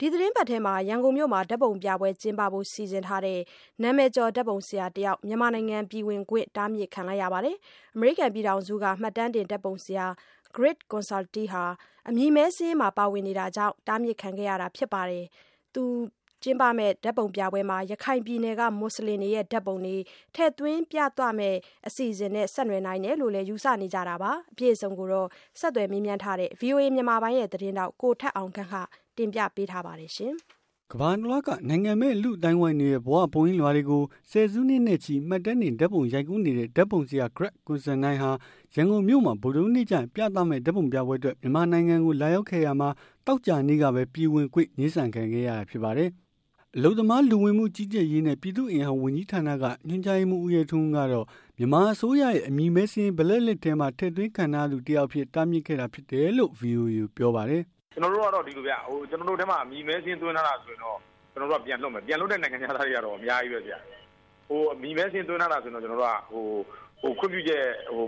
ဒီသီတင်းပတ်ထဲ ရန်ကုန်မြို့မှာ ဓာတ်ပုံပြပွဲကျင်းပဖို့ စီစဉ်ထားတဲ့ နာမည်ကျော် ဓာတ်ပုံဆရာ တယောက်ဟာ မြန်မာနိုင်ငံ ပြည်ဝင်ခွင့် တားမြစ်ခံခဲ့ရပါတယ်။ အမေရိကန် ပြည်ထောင်စုက မှတ်တမ်းတင် ဓာတ်ပုံဆရာ Greg Constantine ဟာ အမည်မည်းစာရင်းမှာ ပါဝင်နေတာကြောင့် တားမြစ်ခံခဲ့ရတာဖြစ်ပြီး၊ ဓာတ်ပုံပြပွဲမှာ ရခိုင်ပြည်နယ်က မူဆလင်တွေရဲ့ ဓာတ်ပုံတွေ ထည့်သွင်းပြသမယ့် အစီအစဉ်နဲ့ ဆက်နွယ်နိုင်တယ်လို့လည်း ယူဆနေကြတာပါ။ အပြည့်အစုံကိုတော့ ဆက်သွယ်မေးမြန်းထားတဲ့ ဗွီအိုအေမြန်မာပိုင်း သတင်းထောက် ကိုထက်အောင်ခန့် က တင်ပြပေးမှာပါ။ ကမ္ဘာတလွှားက နိုင်ငံမဲ့ လူ့အသိုင်းအဝိုင်းတွေရဲ့ ဘဝရုပ်ပုံလွှာတွေကို ဆယ်စုနှစ်နဲ့ချီ မှတ်တမ်းတင် ဓာတ်ပုံရိုက်ကူးနေတဲ့ ဓာတ်ပုံဆရာ Greg Constantine ဟာ ရန်ကုန်မြို့မှာ ဗုဒ္ဓဟူးနေ့ကျရင် ပြသမယ့် ဓာတ်ပုံပြပွဲအတွက် မြန်မာနိုင်ငံကို လာရောက်ခဲ့ရာမှာ သောကြာနေ့ကပဲ ပြည်ဝင်ခွင့် ငြင်းဆန်ခံခဲ့ရတာ ဖြစ်ပါတယ်။ အလုပ်သမား လူဝင်မှု ကြီးကြပ်ရေးနဲ့ ပြည်သူ့အင်အား ဝန်ကြီးဌာနက ညွှန်ကြားရေးမှူး ဦးရဲထွန်းဦးကတော့ မြန်မာအစိုးရဲ့ အမည်မည်းစာရင်း black list ထဲမှာ ထည့်သွင်းခံထားရသူ တယောက်အဖြစ် တားမြစ်ခဲ့တာ ဖြစ်တယ်လို့ ဗွီအိုအေကို ပြောပါတယ်။ “ကျနော်တို့ကတော့ ဒီလိုဗျ ကျနော်တို့ မှာ အမည်မည်းစာရင်းသွင်းထားတာဆိုရင်တော့ ကျနော်တို့က ပြန်လွှတ်မယ်။ ဒီလို ပြန်လွှတ်တဲ့ နိုင်ငံခြားသားတွေလည်းအများကြီးပဲခင်ဗျ။ အမည်မည်းစာရင်းသွင်းထားတာဆိုရင်တော့ ကျနော်တို့က ခွင့်ပြုချက်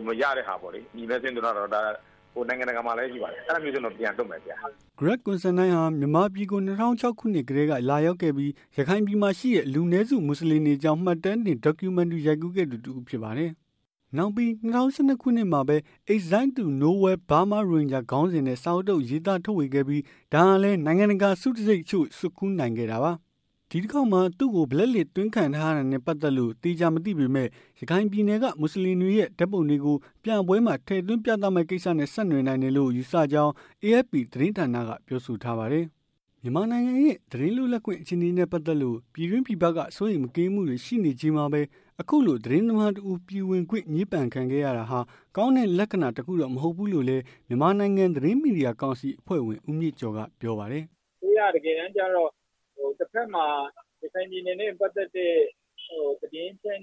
မရတဲ့ဟာပေါ့လေ။ ဒါနိုင်ငံတကာမှာလည်းရှိပါတယ် အဲဒါမျိုးတွေ ဆိုရင်တော့ ပြန်လွှတ်မယ်ခင်ဗျ။” Greg Constantine ဟာ မြန်မာပြည်ကို၂၀၀၆ ခုနှစ်ကတည်းက လာရောက်ခဲ့ပြီး ရခိုင်ပြည်မှာ ရှိတဲ့ လူနည်းစု မူဆလင်တွေအကြောင်း မှတ်တမ်းဓာတ်ပုံ documentary ရိုက်ခဲ့သူ တစ်ဦးဖြစ်ပါတယ်။ နောက်ပြီး ၂၀၁၂ ခုနှစ်မှာပဲ Exiled to Nowhere: Burma's Rohinga ခေါင်းစဉ်နဲ့ စာအုပ်တစ်အုပ် ရေးသားထုတ်ဝေခဲ့ပြီး ဒါဟာလည်း နိုင်ငံတကာ ဆုတံဆိပ်တချို့ကို ဆွတ်ခူးနိုင်ခဲ့တာပါ။ ဒီတခေါက်မှာ သူ့ကို black list သွင်းခံရတာနဲ့ ပတ်သက်လို့ သေချာမသိပေမဲ့လို့ ရခိုင်ပြည်နယ်က မူဆလင်တွေရဲ့ ဓာတ်ပုံတွေကို ပြပွဲမှာ ထည့်သွင်း ပြသမယ့် ကိစ္စနဲ့ ဆက်နွယ်နိုင်တယ်လို့ ယူဆကြောင်း AFP သတင်းဌာနကို ပြောဆိုထားပါတယ်။ မြန်မာနိုင်ငံရဲ့ သတင်းလွတ်လပ်ခွင့် အခြေအနေနဲ့ ပတ်သက်လို့ ပြည်တွင်းပြည်ပက စိုးရိမ်မကင်းမှုတွေ ရှိနေချိန်မှာပဲ အခုလို သတင်းသမားတဦး ပြည်ဝင်ခွင့် ငြင်းပယ်ခံခဲ့ရတာဟာ ကောင်းတဲ့ လက္ခဏာတခုတော့ မဟုတ်ဘူးလို့လည်း မြန်မာနိုင်ငံ သတင်းမီဒီယာကောင်စီ အဖွဲ့ဝင် ဦးမြင့်ကျော် ကပြောပါတယ်။ “အစိုးရက တကယ်တမ်းကြတော့ တဘက်မှာ ရခိုင်ပြည်နယ်နဲ့ ပတ်သက်တဲ့ သတင်းအချက်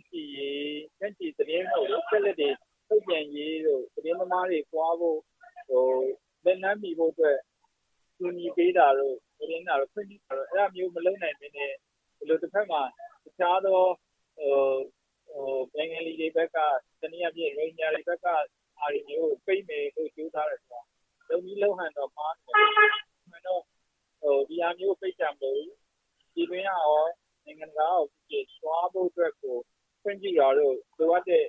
အလကတွေ ထုတ်ပြန်ရေးတို့ ၊ သတင်းသမားတွေသွားဖို့ လက်လှမ်းမှီဖို့အတွက် ကူညီပေးတာတို့ ၊ ခွင့်ပြုတာတို့ အဲဒါမျိုးတွေမလုပ်နိုင်ပဲနဲ့ ဒီလိုတဘက်မှာ တခြားသော ဘင်္ဂလီဘက်က ၊ ရိုဟင်ဂျာဘက်က ဟာတွေမျိုးကို ပိတ်မယ်ဆိုပြီး ကြိုးစားတယ်ဆိုတော့ လုပ်နည်းလုပ်ဟန်က မှားနေတယ်။ အမှန်တော့ ဒီဟာမျိုးကိုပိတ်တာမလုပ်ပဲနဲ့ ပြည်တွင်းကရော၊ နိုင်ငံတကာကရော သွားဖို့အတွက်ကိုခွင့်ပြုတာတို့ လိုအပ်တဲ့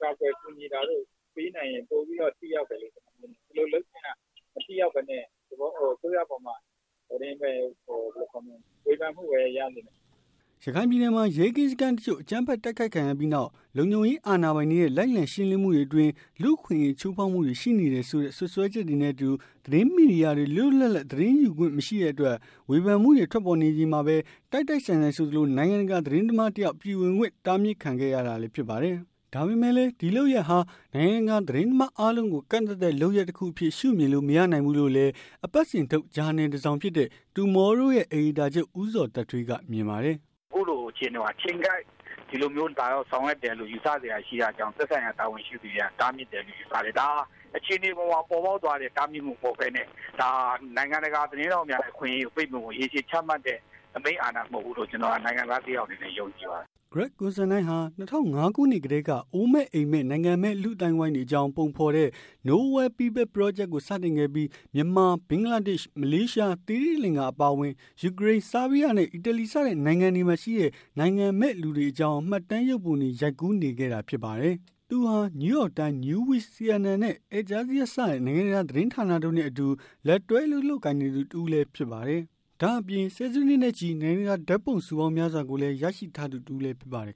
ကာကွယ်ကူညီတာတို့ ပေးနိုင်ရင် ပိုပြီးတော့ထိရောက်မယ်လေ။ ဒီလိုလုပ်ခြင်းက မထိရောက်ပဲနဲ့ အစိုးရပေါ်မှာ ဝေဖန်မှုပဲ ရနေမယ်။ ရခိုင်ပြည်နယ်မှာ ရဲကင်းစခန်းတချို့ကို အကြမ်းဖက် တိုက်ခိုက်ခံခဲ့ရပြီးနောက် လုံခြုံရေး အာဏာပိုင်တွေရဲ့ လိုက်လံရှင်းလင်းမှုတွေအတွင်း လူ့အခွင့်အရေး ချိုးဖောက်မှုတွေရှိနေတယ်ဆိုတဲ့ စွပ်စွဲချက်တွေနဲ့အတူ သတင်းမီဒီယာတွေ လွတ်လွတ်လပ်လပ် သတင်းယူခွင့် မရှိတဲ့အတွက် ဝေဖန်မှုတွေ ထွက်ပေါ်နေချိန်မှာပဲ၊ တိုက်တိုက်ဆိုင်ဆိုင် ဆိုသလို နိုင်ငံတကာ သတင်းသမားတယောက် ပြည်ဝင်ခွင့် တားမြစ်ခံခဲ့ရတာလည်း ဖြစ်ပါတယ်။ ဒါပေမဲ့လည်း ဒီလုပ်ရပ်ဟာ နိုင်ငံတကာသတင်းသမား အားလုံးကို ကန့်သတ်တဲ့ လုပ်ရပ်တခုအဖြစ် ရှုမြင်လို့ မရနိုင်ဘူးလို့လည်း အပတ်စဉ်ထုတ်ဂျာနယ်တစောင်ဖြစ်တဲ့ Tomorrow ရဲ့ အယ်ဒီတာချုပ် ဦးဇော်သက်ထွေး ကမြင်ပါတယ်။ “အခုလိုအချိန်မှာ အချိန်ကိုက် ဒီလိုမျိုးဆောင်ရွက်တယ်လို့ ယူဆစရာရှိတာကြောင့် သက်ဆိုင်ရာ တာဝန်ရှိသူတွေက တားမြစ်တယ်လို့ ယူဆတယ်။ ဒါဟာ အခြေအနေပေါ်မှာ ပေါ်ပေါက်သွားတဲ့ တားမြစ်မှုမဟုတ်ပဲနဲ့ ဒါဟာ နိုင်ငံတကာ သတင်းထောက်များအခွင့်အရေးကို ပိတ်ပင်ဖို့ ရေရှည်ချမှတ်တဲ့ အမိန့်အာဏာ မဟုတ်ဘူးလို့ ကျနေ်ာနိုင်ငံသားတယောက်အနေနဲ့ ယုံကြည်ပါတယ်။” Greg Constantine ဟာ ၂၀၀၅ ခုနှစ်ကတည်းက အိုးမဲ့အိမ်မဲ့ နိုင်ငံမဲ့ လူ့အသိုင်းအဝိုင်းတွေအကြောင်း ပုံဖော်တဲ့ nowhere People ပရောဂျက်ကို စတင်ခဲ့ပြီး မြန်မာ၊ ဘင်္ဂလားဒေ့၊ မလေးရှား၊ သိရှိလင်္ဂအပါအဝင် ယူကရိန်း ဆာဘီးယားနဲ့ အီတလီစတဲ့ နိုင်ငံတွေမှာရှိတဲ့ နိုင်ငံမဲ့ လူတွေအကြောင်း မှတ်တမ်းရုပ်ပုံတွေ ရိုက်ကူးနေခဲ့တာဖြစ်ပါတယ်။ သူဟာ New York Times, Newsweek, International Herald Tribune, CNN နဲ့ Al-Jazeera စတဲ့ နိင်ငံတကာ သတင်းဌာနတို့နဲ့ အတူလက်တွဲ အလုပ်လုပ်ကိုင်နေသူတစ်ဦးလည်း ဖြစ်ပါတယ်။ ဒါ့အပြင် ဆယ်စုနှစ်နဲ့ချီ နိုင်ငံတကာ ဓာတ်ပုံဆုပေါင်းများစွာကိုလည်း ရရှိထားသူတစ်ဦးလည်း ဖြစ်ပါတယ်